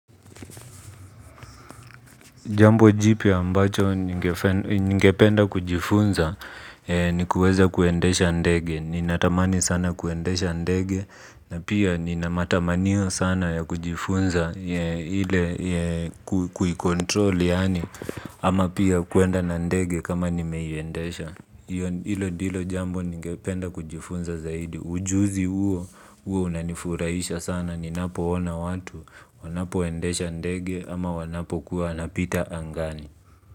Jambo jipya ambacho ningependa kujifunza ni kuweza kuendesha ndege. Ninatamani sana kuendesha ndege na pia ninamatamanio sana ya kujifunza ile kuikontrol yaani ama pia kwenda na ndege kama nimeiyendesha. Hilo ndilo jambo ningependa kujifunza zaidi. Ujuzi huo, huwa unanifurahisha sana. Ninapo ona watu, wanapo endesha ndege ama wanapo kuwa wanapita angani.